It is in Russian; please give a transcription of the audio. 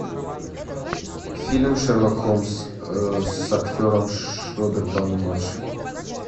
фильм шерлок холмс с актером роберт дауни младший